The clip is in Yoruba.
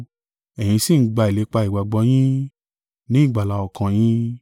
ẹyin sì ń gba ìlépa ìgbàgbọ́ yín, àní ìgbàlà ọkàn yín.